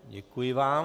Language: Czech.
Děkuji vám.